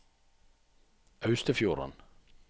Austefjorden